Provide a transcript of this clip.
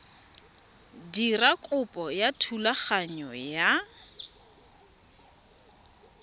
dira kopo ya thulaganyo ya